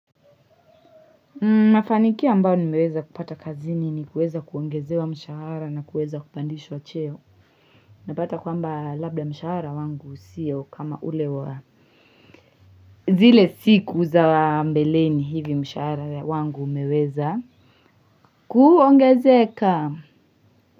Mafanikio ambayo nimeweza kupata kazini ni kuweza kuongezewa mshahara na kuweza kupandishwa cheo napata kwamba labda mshahara wangu siyo kama ulewa zile siku za mbeleni hivi mshahara wangu umeweza kuongezeka.